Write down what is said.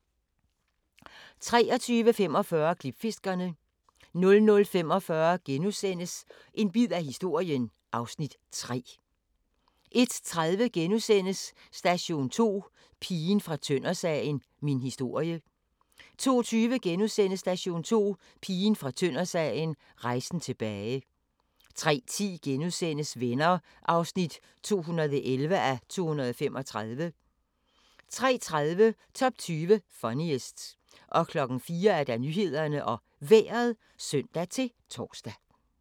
23:45: Klipfiskerne 00:45: En bid af historien (Afs. 3)* 01:30: Station 2: Pigen fra Tøndersagen – min historie * 02:20: Station 2: Pigen fra Tøndersagen – rejsen tilbage * 03:10: Venner (211:235)* 03:30: Top 20 Funniest 04:00: Nyhederne og Vejret (søn-tor)